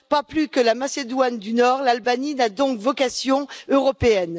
Pas plus que la Macédoine du Nord l'Albanie n'a donc vocation européenne.